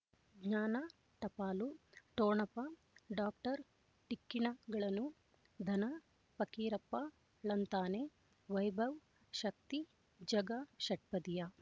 ಜ್ಞಾನ ಟಪಾಲು ಠೊಣಪ ಡಾಕ್ಟರ್ ಢಿಕ್ಕಿ ಣಗಳನು ಧನ ಫಕೀರಪ್ಪ ಳಂತಾನೆ ವೈಭವ್ ಶಕ್ತಿ ಝಗಾ ಷಟ್ಪದಿಯ